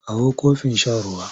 Kawo kofin shan ruwa!